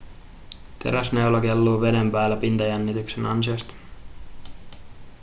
teräsneula kelluu veden päällä pintajännityksen ansiosta